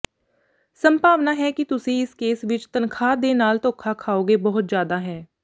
ਸੰਭਾਵਨਾ ਹੈ ਕਿ ਤੁਸੀਂ ਇਸ ਕੇਸ ਵਿੱਚ ਤਨਖਾਹ ਦੇ ਨਾਲ ਧੋਖਾ ਖਾਓਗੇ ਬਹੁਤ ਜਿਆਦਾ ਹੈ